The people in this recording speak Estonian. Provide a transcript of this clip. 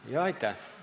Aitäh!